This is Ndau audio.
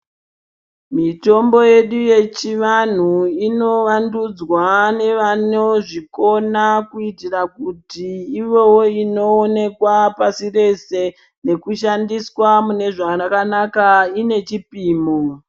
Mitombo yedu yechivantu inovandudzwa nevanozvikona kuitira kuti ivewo inoonekwa pasi rese, nekushandiswa mune zvakanaka ine chipimo.